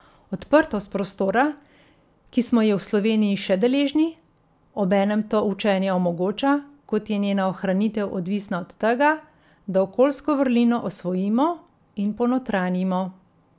Odprtost prostora, ki smo je v Sloveniji še deležni, obenem to učenje omogoča, kot je njena ohranitev odvisna od tega, da okoljsko vrlino osvojimo in ponotranjimo.